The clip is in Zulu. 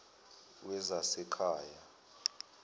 wezasekhaya